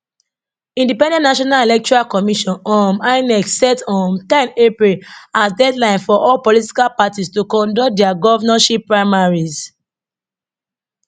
independent national electoral commission um inec set um ten april as deadline for all political parties to conduct dia govnorship primaries